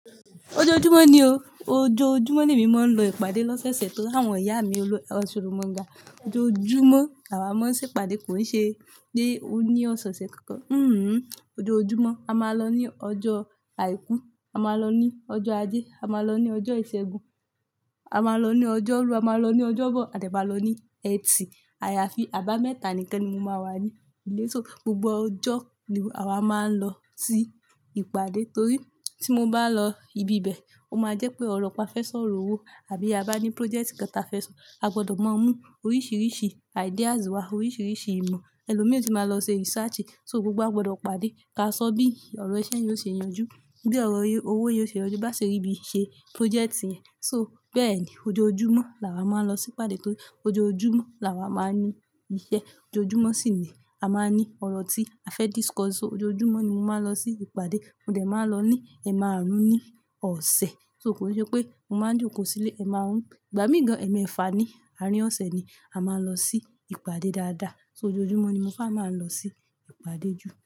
Ojoojumọ ni o. Ojoojumọ ni èmi máa ń lọ ìpàdé lọ́sẹ̀ṣẹ̀ torí àwọn ìyá mi olú-- osoromanga. Ojoojumọ làwá máa ń ṣe ìpàdé kò ṣe ní-- ó ní ọ̀sẹ̀ẹ̀ṣẹ̀ kankan. Hhm. Ojoojumọ a máa lọ ní ọjọ́ àìkú, a máa lọ ní ọjọ́ ajé, a máa lọ ní ọjọ́ ìṣẹ́gun, a máa lọ ní ọjọ́ rú, a máa lọ ní ọjọ́bọ̀ à de máa lọ ní ẹtì. Àyàfi àbámẹ́ta nìkan ni mo máa wà ní ilé so. Gbogbo ọjọ́ ni àwa máa ń lọ sí ìpàdé torí tí mo bá lọ ibi bẹ̀, ó máa jẹ́ pé ọ̀rọ̀ kan fẹ́ sọ̀rọ̀ owó àbí a bá ní project kan ta fẹ́ sọ. A gbọdọ̀ máa mú oríṣiríṣi ideas wá, oríṣiríṣi ìmọ̀. Elo mí ò tíì máa lọ ṣe research. So gbogbo a gbọdọ̀ pàdé ká sọ bí ọ̀rọ̀ iṣẹ́ yẹn yóò ṣe yanjú, bí ọ̀rọ̀ owó yóò ṣe yanjú bá ṣe rí bí ṣe project yẹn. So bẹ́ẹ̀ ni ojoojumọ làwá máa ń lọ sí ìpàdé torí ojoojumọ làwa máa ń ní iṣẹ́. Ojoojumọ sì ni a máa ń ní ọ̀rọ̀ tí a fẹ́ discuss. So ojoojumọ ni mo máa ń lọ sí ìpàdé. Mo dẹ̀ máa lọ ní ẹ̀ márùn-ún ní ọ̀sẹ̀. So kò ṣe pé mo máa jókòó sílé ẹ̀ márùn-ún. Ìgbà mí ìgan, ẹ̀ mẹ́fà ní àárín ọ̀ṣẹ̀ ni a máa ń lọ sí ìpàdé dáadáa. So ojoojumọ ni mo fẹ́ máa ń lọ sí ìpàdé jù.